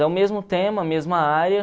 É o mesmo tema, a mesma área.